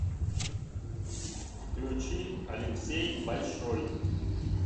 включи алексей большой